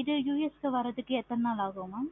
இது US க்கு வர எவ்வளோ நாள் ஆகும். mam